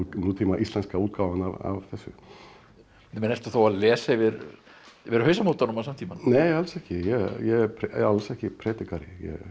nútíma íslenska útgáfan af þessu ertu þá að lesa yfir hausamótunum á samtímanum nei alls ekki ég er alls ekki predikari